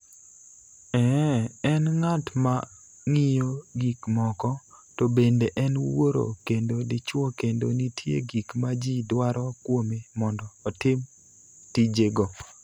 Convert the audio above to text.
Ee, en ng�at ma ng�iyo gik moko, to bende en wuoro kendo dichuo kendo nitie gik ma ji dwaro kuome mondo otim tijego.